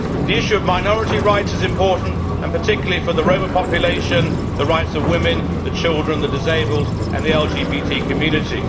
The issue of minority rights is important, particularly for the Roma population, the rights of women, children, the disabled and the LGBT community.